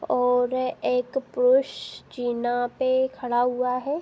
और एक पुरुष जीना पे खड़ा हुआ है।